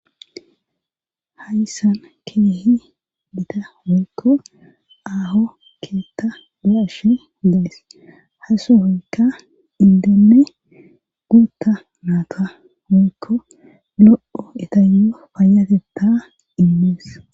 Hayssan keehi gita woykko aaho keetta be7ashe days;ha sohoykka inddenne guutta naata woykko lo7o etayyo payyatetta immes.